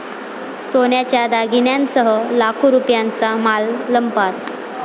सोन्याच्या दागिन्यांसह लाखो रुपयांचा माल लंपास